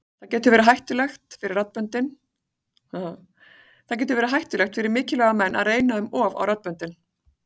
Það getur verið hættulegt fyrir mikilvæga menn að reyna um of á raddböndin.